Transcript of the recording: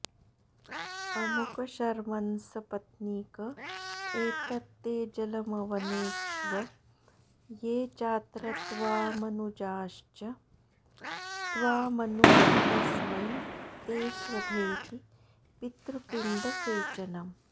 अमुकशर्मन्सपत्नीक एतत्ते जलमवनेक्ष्व ये चात्रत्वामनुजाश्च त्वामनु तस्मै तेस्वधेति पितृपिण्डसेचनम्